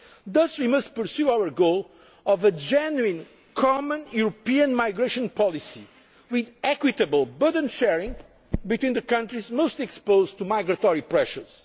concern. Thus we must pursue our goal of a genuine common European migration policy with equitable burden sharing between the countries most exposed to migratory